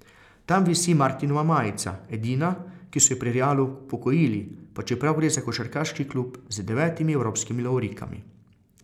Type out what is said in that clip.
Tam visi Martinova majica, edina, ki so ji pri Realu upokojili, pa čeprav gre za košarkarski klub z devetimi evropskimi lovorikami.